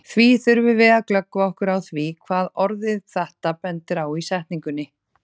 Því þurfum við að glöggva okkur á því hvað orðið þetta bendir á í setningunni.